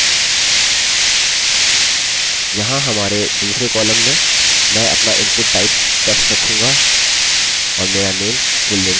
यहाँ हमारे दूसरे कॉलम में मैं अपना input type text रखूँगा और मेरा name fullname के बराबर होगा